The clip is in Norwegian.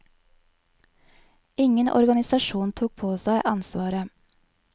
Ingen organisasjon tok på seg ansvaret.